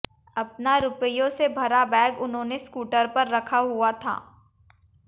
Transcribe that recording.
अपना रुपयों से भरा बैग उन्होंने स्कूटर पर रखा हुआ था